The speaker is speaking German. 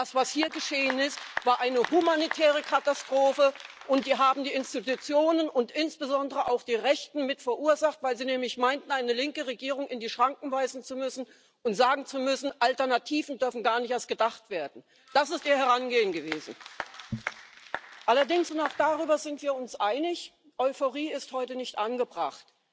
Das, was hier geschehen ist, war eine humanitäre Katastrophe, und die haben die Institutionen und insbesondere auch die Rechten mit verursacht, weil sie nämlich meinten, eine linke Regierung in die Schranken weisen zu müssen und sagen zu müssen Alternativen dürfen gar nicht erst gedacht werden. Das ist ihr Herangehen gewesen! Allerdings, und auch darüber sind wir uns einig Euphorie ist heute nicht angebracht.